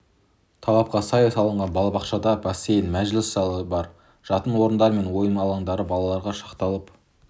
талапқа сай салынған балабақшада бассейн мәжіліс залы бар жатын орындары мен ойын алаңдары балаларға шақталып